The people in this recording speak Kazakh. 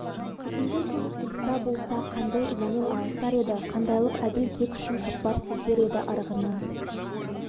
бүгінгі күн иса болса қандай ызамен алысар еді қандайлық әділ кек үшін шоқпар сілтер еді арғыны